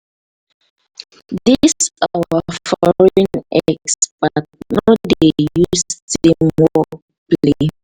dis our foreign expert no dey use team work play.